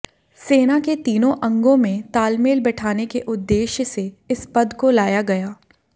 सेना के तीनों अंगों में तालमेल बैठाने के उद्देश्य से इस पद को लाया गया